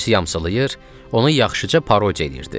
Polisi yamsılayır, onu yaxşıca parodiya eləyirdi.